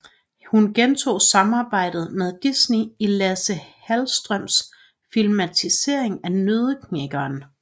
Hun genoptog samarbejdet med Disney i Lasse Hallströms filmatisering af Nøddeknækkeren